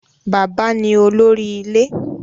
Baba ni olori ile